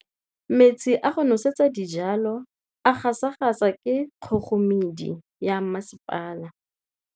Metsi a go nosetsa dijalo a gasa gasa ke kgogomedi ya masepala.